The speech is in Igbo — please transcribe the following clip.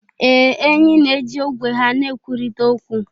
Ee, enyí na-eji ogwe ha na-ekwurịta okwu.